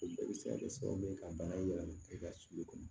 O bɛɛ bɛ se ka kɛ sababu ye ka bana in yɛlɛma e ka sulu kɔnɔ